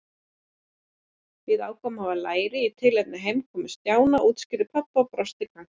Við ákváðum að hafa læri í tilefni heimkomu Stjána útskýrði pabbi og brosti kankvís.